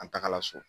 An tagara so